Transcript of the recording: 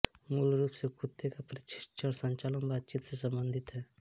मूलरूप से कुत्ते का प्रशिक्षण संचार बातचीत से सम्बंधित है